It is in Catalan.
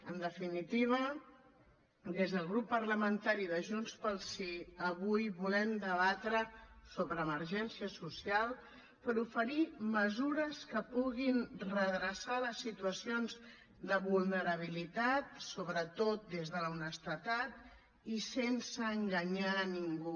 en definitiva des del grup parlamentari de junts pel sí avui volem debatre sobre emergència social per oferir mesures que puguin redreçar les situacions de vulnerabilitat sobretot des de l’honestedat i sense enganyar a ningú